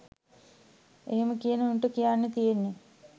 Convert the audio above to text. එහෙම කියන උන්ට කියන්න තියෙන්නෙ